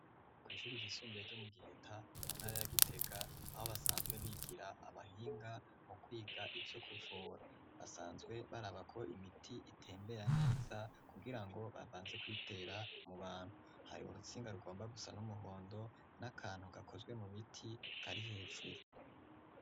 Kw'ishuri igisumbure ryo mu giheta mu ntara yagitega aho basanzwe bigira abahinga mu kwiga ivyo kuvora basanzwe barabako imiti itembeya neza kugira ngo babanze kwitera mu bantu hari urutsinga rugomba gusa n'umuhondo n'akantu gakozwe mu biti kari hejuru.